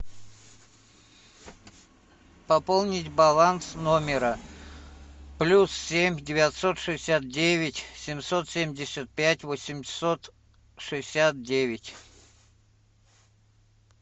пополнить баланс номера плюс семь девятьсот шестьдесят девять семьсот семьдесят пять восемьсот шестьдесят девять